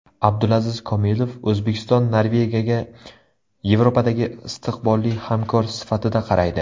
Abdulaziz Komilov: O‘zbekiston Norvegiyaga Yevropadagi istiqbolli hamkor sifatida qaraydi.